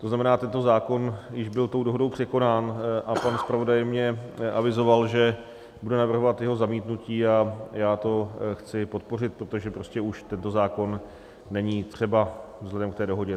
To znamená, tento zákon již byl tou dohodou překonán a pan zpravodaj mně avizoval, že bude navrhovat jeho zamítnutí, a já to chci podpořit, protože prostě už tento zákon není třeba vzhledem k té dohodě.